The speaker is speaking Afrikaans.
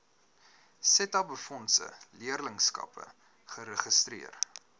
setabefondse leerlingskappe geregistreer